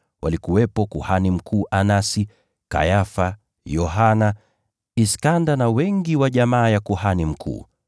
Walikuwepo kuhani mkuu Anasi, Kayafa, Yohana, Iskanda, na wengi wa jamaa ya kuhani mkuu.